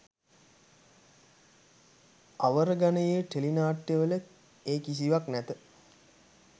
අවර ගණයේ ටෙලිනාට්‍යවල ඒ කිසිවක් නැත